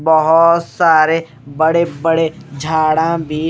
बहोत सारे बड़े बड़े झाड़ा भी--